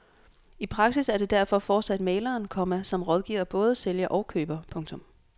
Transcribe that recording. I praksis er det derfor fortsat mægleren, komma som rådgiver både sælger og køber. punktum